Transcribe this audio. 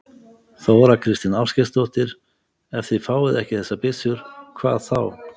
Þóra Kristín Ásgeirsdóttir: Ef þið fáið ekki þessar byssur, hvað þá?